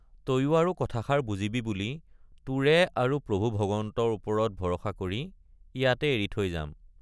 তয়ো আৰু কথাষাৰ বুজিবি বুলি তোৰে আৰু প্ৰভু ভগৱন্তৰ ওপৰত ভৰষা কৰি ইয়াতে এৰি থৈ যাম।